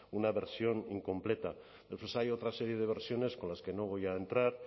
una versión incompleta después hay otra serie de versiones con las que no voy a entrar